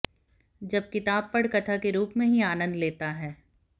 जब किताब पढ़ कथा के रूप में ही आनंद लेता है